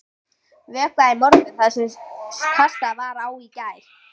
Vökvað í morgun það sem kastað var á í gær.